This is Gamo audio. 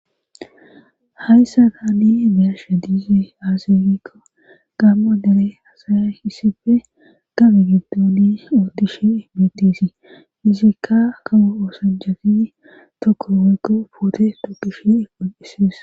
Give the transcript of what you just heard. hayssa daani biyasha diize azefikko gammo dere asaya hissife gabe giddoni oottishe emetisii izikka kawo oosanjagi tokko woykko ufoote dokishe egon7ises